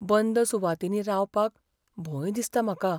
बंद सुवातींनी रावपाक भंय दिसता म्हाका.